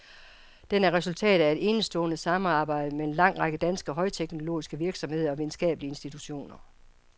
Den er resultat af et enestående samarbejde mellem en lang række danske højteknologiske virksomheder og videnskabelige institutioner.